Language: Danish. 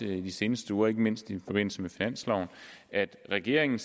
de seneste uger ikke mindst i forbindelse med finansloven at regeringen